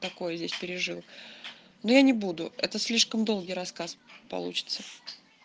такое здесь пережил но я не буду это слишком долгий рассказ получится